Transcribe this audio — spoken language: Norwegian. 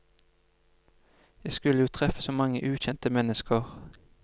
Jeg skulle jo treffe så mange ukjente mennesker.